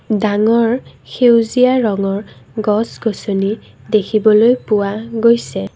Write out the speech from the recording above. ডাঙৰ সেউজীয়া ৰঙৰ গছ-গছনী দেখিবলৈ পোৱা গৈছে।